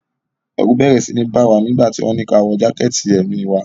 Ẹ̀rù bẹ́rẹ́ síi bá wa nígbà tí wọ́n ní kí a wọ jákẹ̀tì èmi wa.